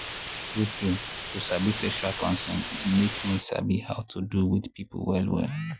true true to sabi sexual consent e make me sabi how to do with people well well.